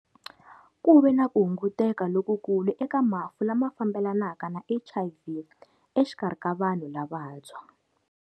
Ku ve na ku hunguteka lokukulu eka mafu lama fambelanaka na HIV exikarhi ka vanhu lavantshwa.